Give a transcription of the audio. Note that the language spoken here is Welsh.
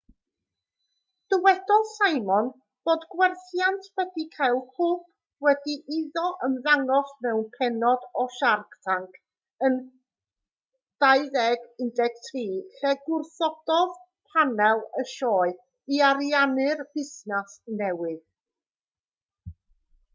dywedodd simon fod gwerthiant wedi cael hwb wedi iddo ymddangos mewn pennod o shark tank yn 2013 lle gwrthododd panel y sioe i ariannu'r busnes newydd